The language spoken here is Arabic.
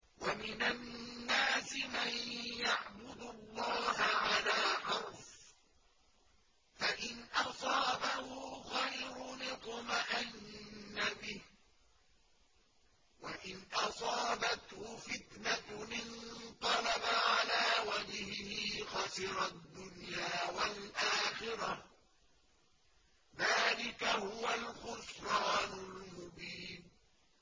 وَمِنَ النَّاسِ مَن يَعْبُدُ اللَّهَ عَلَىٰ حَرْفٍ ۖ فَإِنْ أَصَابَهُ خَيْرٌ اطْمَأَنَّ بِهِ ۖ وَإِنْ أَصَابَتْهُ فِتْنَةٌ انقَلَبَ عَلَىٰ وَجْهِهِ خَسِرَ الدُّنْيَا وَالْآخِرَةَ ۚ ذَٰلِكَ هُوَ الْخُسْرَانُ الْمُبِينُ